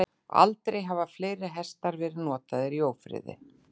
Aldrei hafa fleiri hestar verið notaðir í ófriði.